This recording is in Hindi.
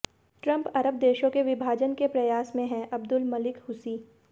ट्रम्प अरब देशों के विभाजन के प्रयास में हैंः अब्दुल मलिक हूसी